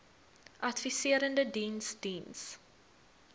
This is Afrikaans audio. adviserende diens diens